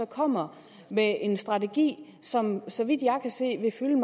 kommer med en strategi som så vidt jeg kan se vil fylde